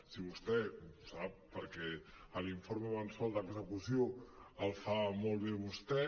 si vostè ho sap perquè l’informe mensual d’execució el fa molt bé vostè